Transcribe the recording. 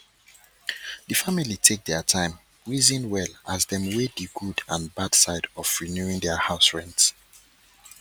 de family take their time reason well as dem weigh the good and bad side of renewing their house rent